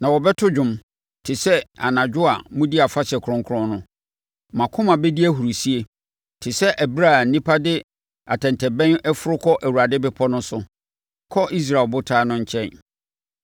Na mobɛto dwom te sɛ anadwo a modi afahyɛ kronkron no; mo akoma bɛdi ahurisie te sɛ ɛberɛ a nnipa de atɛntɛbɛn foro kɔ Awurade bepɔ no so kɔ Israel Ɔbotan no nkyɛn.